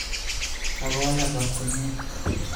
Kakowalak kot komie